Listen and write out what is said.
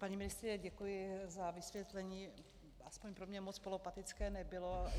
Paní ministryně, děkuji za vysvětlení, aspoň pro mě moc polopatické nebylo.